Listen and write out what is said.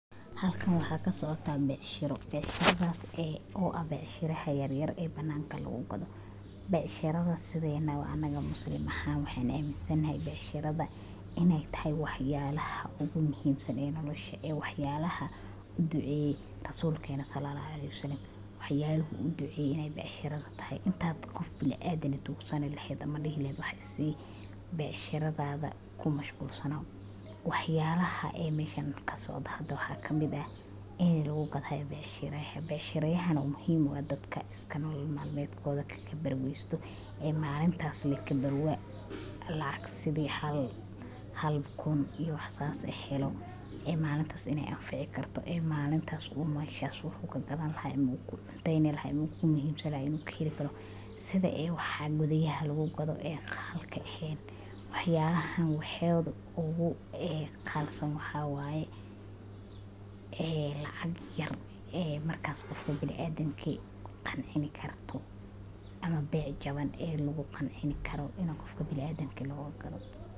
Halkan waxa kasocota becsharo ,becsharadas oo eh tan yaryar oo bananka lagu gadho waa kuwo muhiim u ah nolosha bulshada, gaar ahaan meelaha magaalada ka baxsan ama xaafadaha dadku ku badan yihiin. Bacshan waxay inta badan ka kooban yihiin miisas yar yar ama dambiilo lagu soo bandhigo khudaarta, miraha, cabitaanada fudud, ama alaabo kale oo la isticmaalo maalin walba. Dadka iibiya bacsharadan waa ganacsato yar yar oo dadaal ku billaabay inay nolol maalmeedkooda ka helaan si sharaf leh. Iibsashada bacsharadan waxay taageeraysaa dhaqaalaha bulshada iyo koboca ganacsiga yaryar, waxaana sidoo kale ay dadka deegaanka u fududaynayaan inay si dhakhso ah.